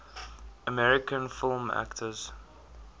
american film actors